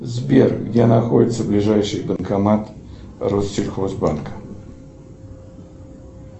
сбер где находится ближайший банкомат россельхозбанка